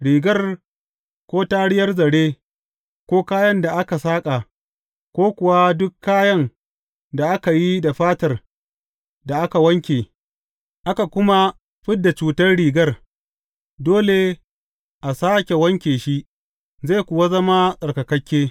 Rigar, ko tariyar zare, ko kayan da aka saƙa, ko kuwa duk kayan da aka yi da fatar da aka wanke, aka kuma fid da cutar rigar, dole a sāke wanke shi, zai kuwa zama tsarkakakke.